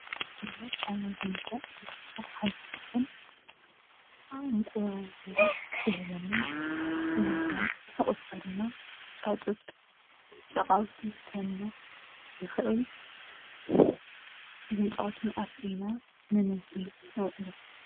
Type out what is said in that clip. ደርሆ ካብ ቤት እንስሳ ሓንቲ እንትትኮን እንቋቊሖ ትህበና፡፡ እንቊላል ትሕቊፍናያ፡፡ ጫጩት ጨቓውቲ ትህበና ትኽእል፡፡ እተን ጨቓውቲ ኣፍሪና ንምግቢ ነውዕለን፡፡